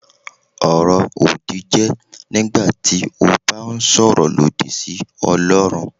Ọ̀rọ̀-òdì jẹ́ nígbà tí o bá ń sọ̀rọ̀ lòdì sí Ọlọrun.